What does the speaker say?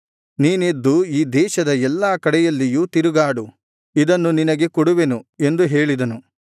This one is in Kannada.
ನೀನೆದ್ದು ಈ ದೇಶದ ಎಲ್ಲಾ ಕಡೆಯಲ್ಲಿಯೂ ತಿರುಗಾಡು ಇದನ್ನು ನಿನಗೆ ಕೊಡುವೆನು ಎಂದು ಹೇಳಿದನು